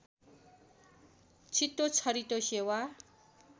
छिटो छरितो सेवा